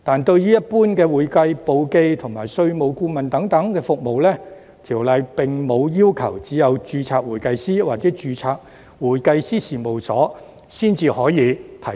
對於一般的會計簿記及稅務顧問等服務，《條例》並無要求只有註冊會計師或註冊會計師事務所才可以提供。